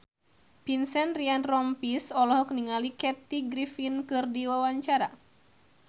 Vincent Ryan Rompies olohok ningali Kathy Griffin keur diwawancara